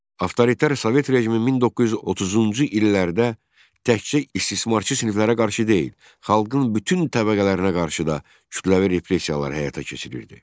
Avtoritar Sovet rejimi 1930-cu illərdə təkcə istismarçı siniflərə qarşı deyil, xalqın bütün təbəqələrinə qarşı da kütləvi repressiyalar həyata keçirirdi.